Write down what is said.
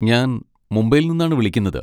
ഞാൻ മുംബൈയിൽ നിന്നാണ് വിളിക്കുന്നത്.